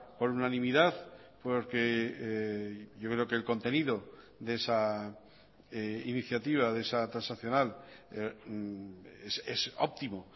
por unanimidad porque yo creo que el contenido de esa iniciativa de esa transaccional es óptimo